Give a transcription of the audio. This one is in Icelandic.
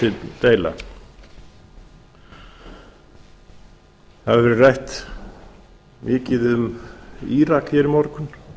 það hefur verið rætt mikið um írak hér í morgun